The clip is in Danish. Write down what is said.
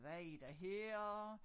Hvad er der her